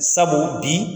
Sabu bi